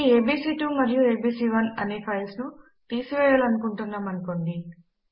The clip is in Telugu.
ఈ ఏబీసీ2 మరియు ఏబీసీ1 అనే ఫైల్స్ ను తీసివేయాలనుకుంటున్నాము అనుకోండి